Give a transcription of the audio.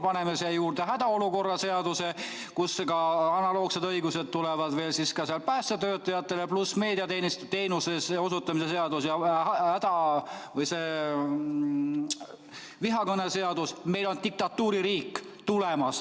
Paneme siia juurde hädaolukorra seaduse, kust ka analoogsed õigused tulevad, siis veel päästeteenistuse ja meediateenuste seadus ja vihakõneseadus – meil on tulemas diktatuuririik.